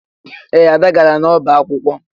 Ee, Ada gara n'ọba akwụkwọ